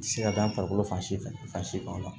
Ti se ka da farikolo fan si fɛ fan si kan